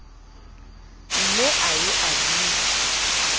ne a ye a bitswe